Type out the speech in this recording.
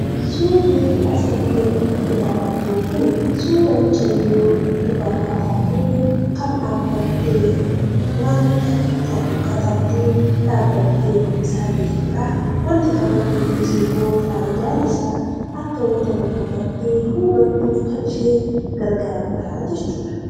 Suurri asii gaditti ilaalaa jirru kuni, suura mucayyoo dubaraa taatee, kan dhaabbattee waan tokko katabdee, dhaabattee dubbisaa jirtudha. Wanti katabde kunis ammoo faayidaan isaa akka wanta tokko bartee hubattuun kan ishee gargaarudha jechuudha.